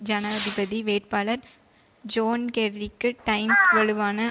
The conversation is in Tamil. ஜனாதிபதி வேட்பாளர் ஜோன் கெர்ரிக்கு டைம்ஸ் வலுவான